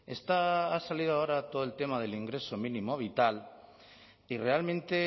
está ha salido ahora todo el tema del ingreso mínimo vital y realmente